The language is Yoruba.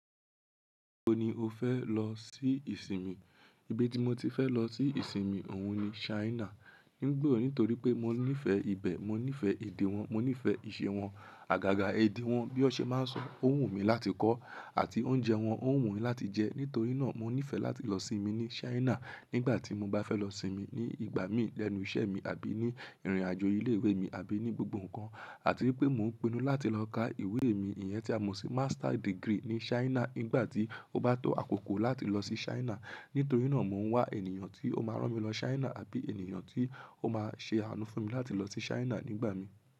O ni o fẹ́ lọ sí ìsinmi? Bi tí mo ti fẹ́ lọ sí ìsinmi òun ni Ṣhainà. Nígbà wo? Nítorí pé mọ níìfẹ̀ ibẹ̀, mọ níìfẹ̀ èdè wọn, mọ níìfẹ̀ ìṣe wọn. Àgàgà èdè wọn bí ọṣẹ má n sọ, ọ̀ wù mí láti kọ́, àti oúnjẹ wọn, ọ̀ wù mí láti jẹ. Nítorí náà mọ níìfẹ̀ láti lọ sì mí ní Ṣáínà nígbà tí mo bá fẹ́ lọ sì mí ní ìgbà mí lẹ́nu iṣẹ́ mi àbí ní ìrìnàjò ilé ìwé mi àbí ní gbogbo ǹkan, àti wípé mọ ń pinnu láti lọ ká ìwé mi ìyẹn tí àmọ sí Master degree ní Ṣáínà nígbà tí ó bá tó àkókò láti lọ sí Ṣáínà. Nítorí náà mọ ń wá ènìyàn tí ó má rán mi lọ Ṣáínà àbí ènìyàn tí ó má ṣe àánú fún mi láti lọ sí Ṣáínà nígbà mí.